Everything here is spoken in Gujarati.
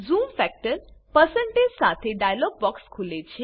ઝૂમ ફેક્ટર સાથે ડાઈલોગ બોક્ક્ષ ખુલે છે